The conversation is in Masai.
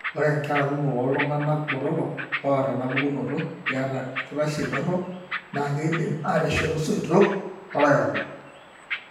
Ore inkera kumok oltung'anak botorok oata enapukunoto keeta orkitashei dorop, naa keidim ateshetu isoitok loolairakuj.